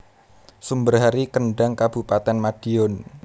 Sumber Hari Kendhang Kabupatèn Madiun